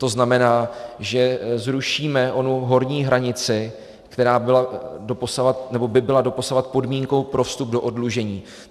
To znamená, že zrušíme onu horní hranici, která by byla doposud podmínkou pro vstup do oddlužení.